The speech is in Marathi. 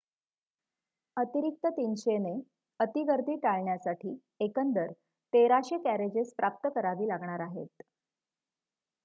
अतिरिक्त 300 ने अति गर्दी टाळण्यासाठी एकंदर 1,300 कॅरेजेस प्राप्त करावी लागणार आहेत